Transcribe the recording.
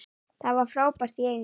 Það var frábært í Eyjum.